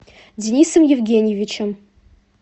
денисом евгеньевичем